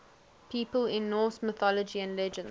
people in norse mythology and legends